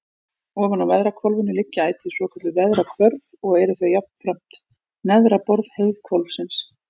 Ofan á veðrahvolfinu liggja ætíð svokölluð veðrahvörf og eru þau jafnframt neðra borð heiðhvolfsins.